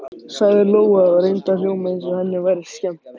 sagði Lóa og reyndi að hljóma eins og henni væri skemmt.